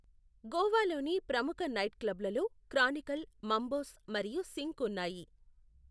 గోవాలోని ప్రముఖ నైట్క్లబ్లలో Chronicle, Mambo's మరియు సింక్ ఉన్నాయి.